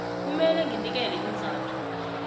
kumele nginikele iinzathu